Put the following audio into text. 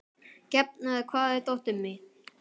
Gefn, hvar er dótið mitt?